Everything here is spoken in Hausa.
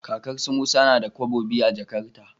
Kakar su musa nada kobo biyu a jakarta